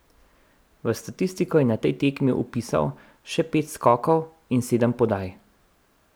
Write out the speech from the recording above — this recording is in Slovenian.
V statistiko je na tej tekmi vpisal še pet skokov in sedem podaj.